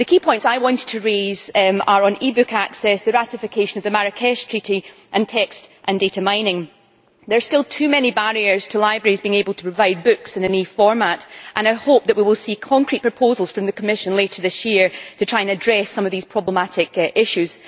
The key points I wanted to raise are on e book access, the ratification of the Marrakesh Treaty, and text and data mining. There are still too many barriers to libraries being able to provide books in electronic format, and I hope that we will see concrete proposals from the Commission later this year to try to address some of these problematic issues.